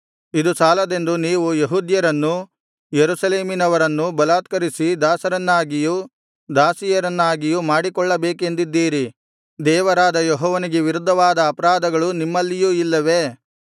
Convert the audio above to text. ಇದು ಸಾಲದೆಂದು ನೀವು ಯೆಹೂದ್ಯರನ್ನು ಯೆರೂಸಲೇಮಿನವರನ್ನೂ ಬಲಾತ್ಕರಿಸಿ ದಾಸರನ್ನಾಗಿಯೂ ದಾಸಿಯರನ್ನಾಗಿಯೂ ಮಾಡಿಕೊಳ್ಳಬೇಕೆಂದಿದ್ದೀರಿ ದೇವರಾದ ಯೆಹೋವನಿಗೆ ವಿರುದ್ಧವಾದ ಅಪರಾಧಗಳು ನಿಮ್ಮಲ್ಲಿಯೂ ಇಲ್ಲವೇ